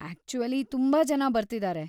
Actually, ತುಂಬಾ ಜನ ಬರ್ತಿದಾರೆ.